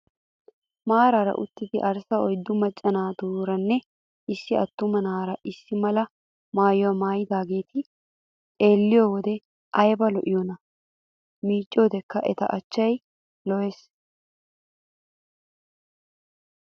Maaraara uttidi arssa uyiddu macca naatuuranne issi attuma na''aara issi mala maayyuwaa maayyidaageeti xelliyoo wode ayiba lo'iyoonaa. miicciyoodekka eta achchayi lo'es.